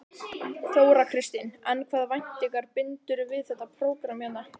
Þóra Kristín: En hvaða væntingar bindurðu við þetta prógramm hérna?